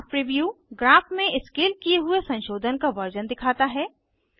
graph preview graph में scale किये हुए संशोधन का वर्जन दिखाता है